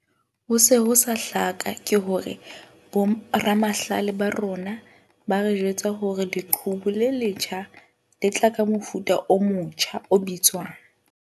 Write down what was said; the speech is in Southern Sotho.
Ho se ho sa hlaka ke hore boramahlale ba rona ba re jwetsa hore leqhubu le letjha le tla tla ka mofuta o motja o bitswang.